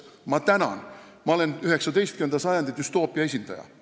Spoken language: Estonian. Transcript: Ma tänan, ma olen 19. sajandi düstoopia esindaja!